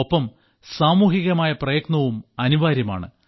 ഒപ്പം സാമൂഹികമായ പ്രയത്നവും അനിവാര്യമാണ്